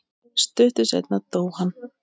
Stuttu seinna dó hann.